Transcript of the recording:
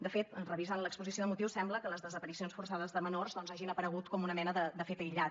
de fet revisant l’exposició de motius sembla que les desaparicions forçades de menors doncs hagin aparegut com una mena de fet aïllat